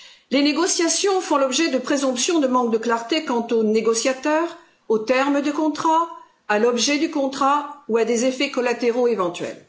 Les négociations font l'objet de présomptions de manque de clarté quant aux négociateurs, aux termes des contrats, à l'objet du contrat ou à des effets collatéraux éventuels.